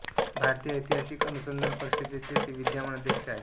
भारतीय ऐतिहासिक अनुसंधान परिषदेचे ते विद्यमान अध्यक्ष आहेत